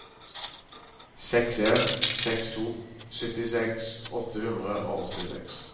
seks en seks to syttiseks åtte hundre og åttiseks